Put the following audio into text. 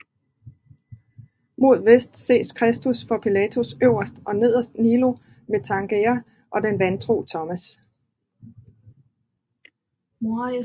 Mod vest ses Kristus for Pilatus øverst og nederst Noli me tangere og den vantro Thomas